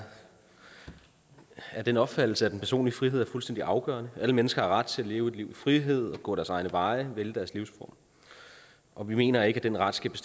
af den opfattelse at den personlige frihed er fuldstændig afgørende alle mennesker har ret til at leve et liv i frihed og gå deres egne veje vælge deres livsspor og vi mener ikke at den ret skal